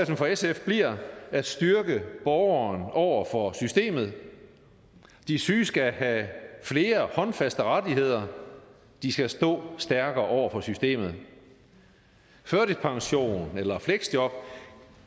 for sf bliver at styrke borgeren over for systemet de syge skal have flere håndfaste rettigheder de skal stå stærkere over for systemet førtidspension eller fleksjob